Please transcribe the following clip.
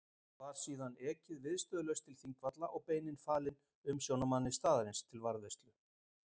Var síðan ekið viðstöðulaust til Þingvalla og beinin falin umsjónarmanni staðarins til varðveislu.